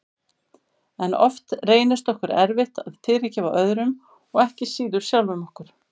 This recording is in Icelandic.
En oft reynist okkur erfitt að fyrirgefa öðrum og ekki síður sjálfum okkur.